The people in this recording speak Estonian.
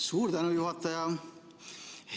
Suur tänu, juhataja!